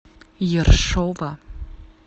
ершова